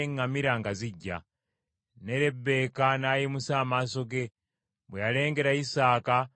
Ne Lebbeeka n’ayimusa amaaso ge. Bwe yalengera Isaaka n’ava ku ŋŋamira,